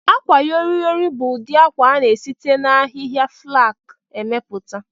Akwayọrịyorị bu ụdị akwa a na-esite n'ahịhịa flaks emepụta